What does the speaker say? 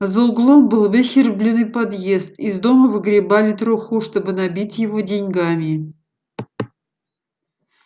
за углом был выщербленный подъезд из дома выгребали труху чтобы набить его деньгами